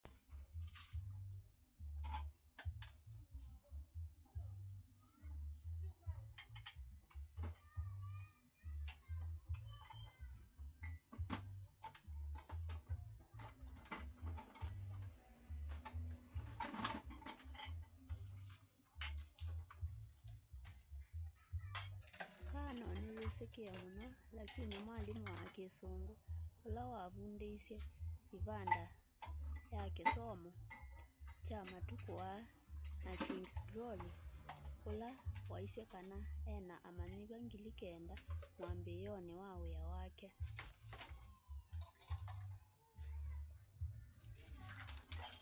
karno ni yisikie muno lakini mwalimu wa kisungu ula wavundiesye ivanda ya kisomo kya matuku aa na king's glory ula waisye kana ena amanyiwa 9,000 mwambioni wa wia wake